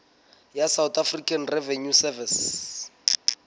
ya south african revenue service